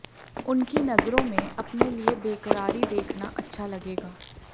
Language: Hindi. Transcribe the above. उनकी नज़रों में अपने लिए बेकरारी देखना अच्छा लगेगा